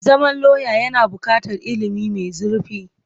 Zama lauya yana buƙatar ilimi mai zurfi.